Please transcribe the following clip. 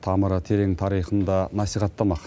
тамыры терең тарихын да насихаттамақ